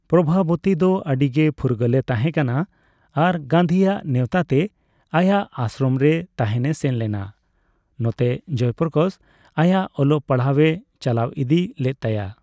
ᱯᱨᱚᱵᱷᱟᱵᱚᱛᱤ ᱫᱚ ᱟᱹᱰᱤ ᱜᱮ ᱯᱷᱩᱨᱜᱟᱹᱞᱮ ᱛᱟᱦᱮᱸᱠᱟᱱᱟ ᱟᱨ ᱜᱟᱱᱫᱷᱤᱭᱟᱜ ᱱᱮᱣᱛᱟ ᱛᱮ ᱟᱭᱟᱜ ᱟᱥᱥᱨᱚᱢ ᱨᱮ ᱛᱟᱦᱮᱱᱮ ᱥᱮᱱ ᱞᱮᱱᱟ, ᱱᱚᱛᱮ ᱡᱚᱭ ᱯᱨᱚᱠᱟᱥ ᱟᱭᱟᱜ ᱚᱞᱚᱜ ᱯᱟᱲᱦᱟᱣᱮ ᱪᱟᱞᱟᱣ ᱤᱫᱤ ᱞᱮᱫ ᱛᱟᱭᱟ ᱾